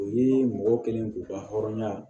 U ye mɔgɔ kelen k'u ka hɔrɔnya